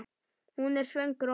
Hún er svöng rotta.